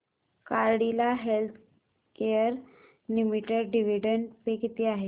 Cadila healthcare limited dividend पे किती आहे